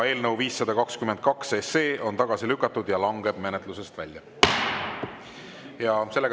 Eelnõu 522 on tagasi lükatud ja langeb menetlusest välja.